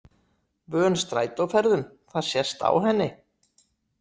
Vön strætóferðum, það sést á henni.